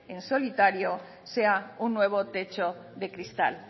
en solitario sea un nuevo techo de cristal